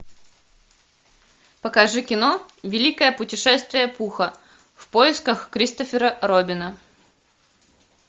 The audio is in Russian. покажи кино великое путешествие пуха в поисках кристофера робина